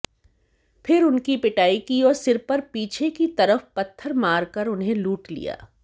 फिर उनकी पिटाई की और सिर पर पीछे की तरफ पत्थर मारकर उन्हें लूट लिया